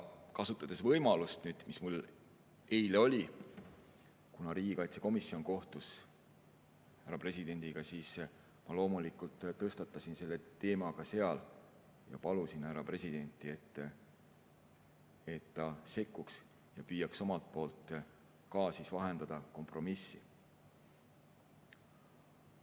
Kasutades võimalust, mis mul oli eile, kui riigikaitsekomisjon kohtus härra presidendiga, ma loomulikult tõstatasin selle teema ka seal ja palusin härra presidenti, et ta sekkuks ja püüaks omalt poolt kompromissi vahendada.